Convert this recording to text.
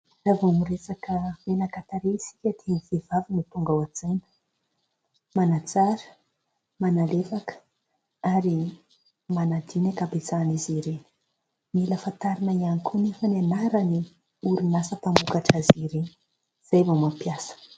Raha vao miresaka menaka tarehy isika dia ny vehivavy no tonga ao an-tsaina. Manatsara, manalefaka ary manadio ny an-kabetsahan'izy ireny. Mila fantarina ihany koa nefa ny anaran'ny orinasa mpamokatra azy ireny izay vao mampiasa.